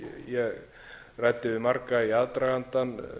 ég ræddi við marga í aðdragandann